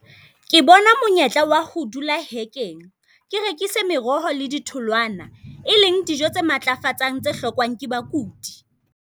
Ke bona monyetla wa ho dula hekeng, ke rekise meroho le di thololwana, e leng dijo tse matlafatsang tse hlokwang ke bakudi.